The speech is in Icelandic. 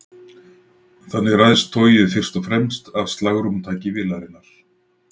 þannig ræðst togið fyrst og fremst af slagrúmtaki vélarinnar